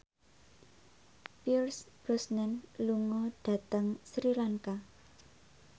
Pierce Brosnan lunga dhateng Sri Lanka